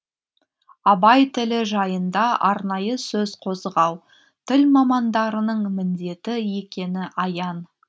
абай тілі жайында арнайы сөз қозғау тіл мамандарының міндеті екені аян